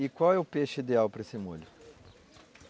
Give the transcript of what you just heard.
E qual é o peixe ideal para esse molho?